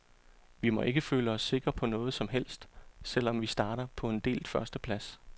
Vi må ikke føle os sikre på noget som helst, selv om vi starter på en delt førsteplads.